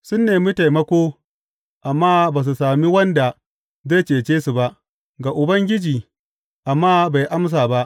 Sun nemi taimako, amma ba su sami wanda zai cece su ba, ga Ubangiji, amma bai amsa ba.